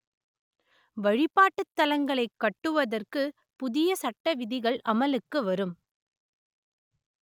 வழிபாட்டுத் தலங்களை கட்டுவதற்கு புதிய சட்ட விதிகள் அமலுக்கு வரும்